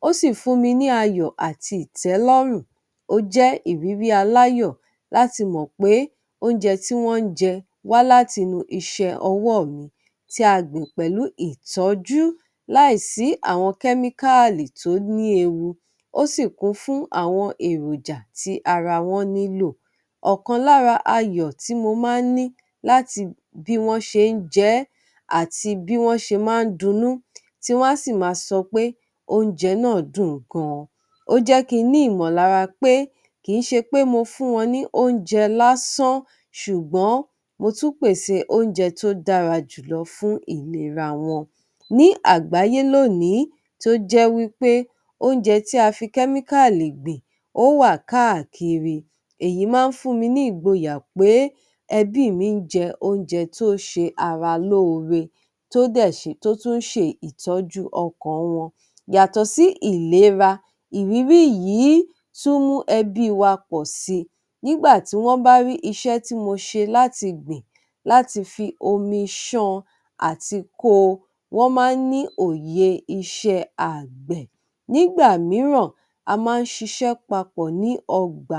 Ó sì fún mi ní ayọ̀ àti ìtẹ́lọ́rùn, ó jẹ́ ìrírí aláyọ̀ láti mọ̀ pé oúnjẹ tí wọ́n ń jẹ wá láti inú iṣẹ́ ọwọ́ mi tí a gbìn pẹ̀lú ìtọ́jú, láìsí àwọn kẹ́míkáàlì tó ní ewu, ó sì kún fún àwọn èròjà tí ara wọn nílò. Ọ̀kan lára ayọ̀ tí mo máa ń ní láti bí wọ́n ṣe ń jẹ ẹ́ àti bí wọ́n ṣe máa ń dunnú, tí wọ́n á sì máa sọ pé oúnjẹ náà dùn gan-an. Ó jẹ́ kí n ní ìmọ̀lára pé kì ń ṣe pé mo fún wọn ní oúnjẹ lásán, ṣùgbọ́n mo tún pèsè oúnjẹ tó dára jùlọ fún ìlera wọn. Ní àgbáyé lónìí tó jẹ́ wí pé oúnjẹ tí a fi kẹ́míkáàlì gbìn ó wà káàkiri, èyí máa ń fún mi ní ìgboyà pé ẹbí mi ń jẹ oúnjẹ tó ṣe ara lóore tó dẹ̀ ṣe, tó tún ń ṣe ìtọ́jú ọkàn wọn. Yàtọ̀ sí ìlera, ìrírí yìí tún mú ẹbí wa pọ̀ sí i. Nígbà tí wọ́n bá rí iṣẹ́ tí mo ṣe láti gbìn, láti fi omi ṣan àti ko, wọn máa ń ní òye iṣẹ́ àgbẹ̀. Nígbà mìíràn, a máa ń ṣiṣẹ́ papọ̀ ní ọgbà.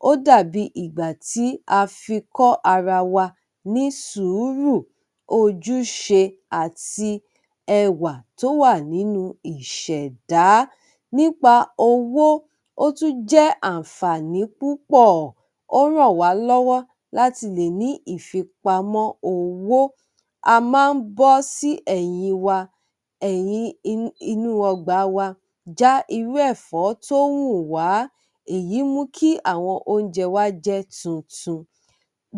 Ó dà bí ìgbà tí a fi kọ́ ara wa ní sùúrù, ojúṣe àti ẹwà tó wà nínú ìṣẹ̀dá. Nípa owó, ó tún jẹ́ àǹfààní púpọ̀, ó ràn wá lọ́wọ́ láti lè ní ìfipamọ́ owó. A má ń bọ́ sí ẹ̀yìn wa, eyin inú, inú ọgbà wa já irú ẹ̀fọ́ tó wùn wá, èyí mu kí àwọn oúnjẹ wa jẹ́ tuntun.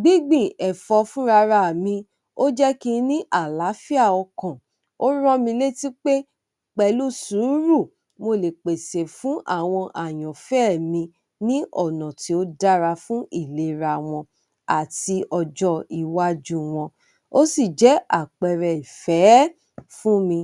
Gbígbìn ẹ̀fọ́ fúnra ra mi, ó jẹ́ kí n ní àlàáfíà ọkàn, ó rán mi létí pé pẹ̀lú sùúrù mo lè pèsè fún àwọn àyànfẹ́ mi ní ọ̀nà tí ó dára fún ìlera wọn àti ọjọ́ iwájú wọn. Ó sì jẹ́ àpẹẹrẹ ìfẹ́ fún mi.